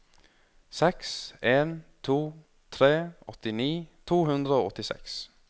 seks en to tre åttini to hundre og åttiseks